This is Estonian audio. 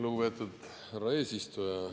Lugupeetud härra eesistuja!